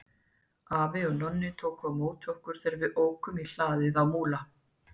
Afi og Nonni tóku á móti okkur þegar við ókum í hlaðið á Múla.